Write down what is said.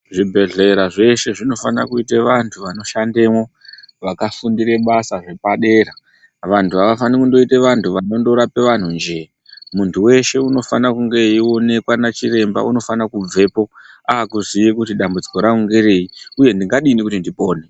Zvibhedhlera zveshe zvinofana kuita vantu vanoshandemwo vakafundire basa repadera , vantu avafaniri kundoite vantu vanondorape vandunjee. Muntu weshe unofana kunge eionekwa nachiremba unofane kubvepo ukaziye kuti dambudziko rangu ngereyu uye ndingadini kuti ndipone.